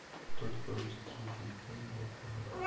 только русский язык я ебал твой рот